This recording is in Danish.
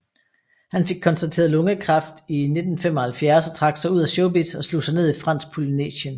Han fik konstateret lungekræft i 1975 og trak sig ud af showbizz og slog sig ned i Fransk Polynesien